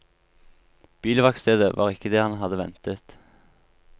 Bilverkstedet var ikke det han hadde ventet.